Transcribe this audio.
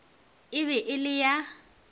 e be e le ya